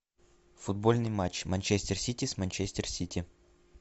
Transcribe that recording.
футбольный матч манчестер сити с манчестер сити